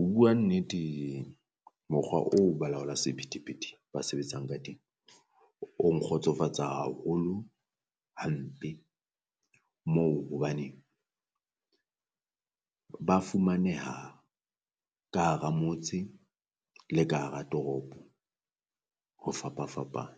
Ho bua nnete mokgwa oo balaola sephethephethe ba sebetsang ka teng o nkgotsofatsa haholo hampe, moo hobane ba fumaneha ka hara motse le ka hara toropo ho fapafapana.